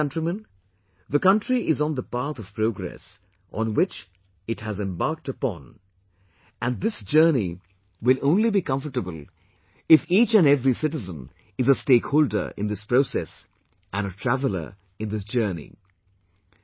My dear countrymen, the country is on the path of progress on which it has embarked upon and this journey will only be comfortable if each and every citizen is a stakeholder in this process and traveller in this journey